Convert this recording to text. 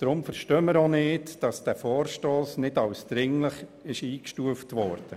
Deshalb verstehen wir auch nicht, warum dieser Vorstoss nicht als dringlich eingestuft wurde.